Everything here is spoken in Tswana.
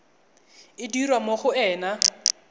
e dirwa mo go ena